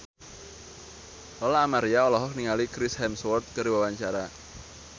Lola Amaria olohok ningali Chris Hemsworth keur diwawancara